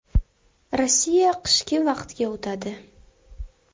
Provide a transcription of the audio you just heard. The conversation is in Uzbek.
Rossiya qishki vaqtga o‘tadi.